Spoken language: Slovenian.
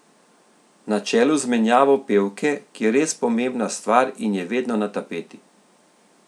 Na čelu z menjavo pevke, ki je res pomembna stvar in je vedno na tapeti.